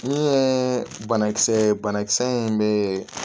Ne ye banakisɛ ye banakisɛ in bɛ